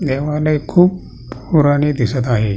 देवालय खूप पुराने दिसत आहे.